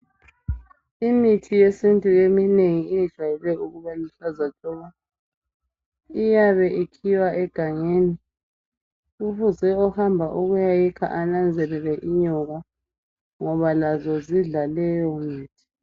Imithi yesintu eminengi yejayele ukuba luhlaza tshoko, iyabe ikhiwa egangeni kufuze ohamba ukuya yikha enanzelele inyoka ngoba lazo zidla leyo mithi.